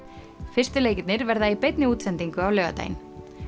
fyrstu leikirnir verða í beinni útsendingu á laugardaginn